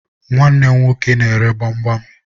Nwanne m nwoke na-ere gbamgbam